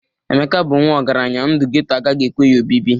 Emeka bụ nwa ọgaranya, ndu geto agaghị ekwe ya obibi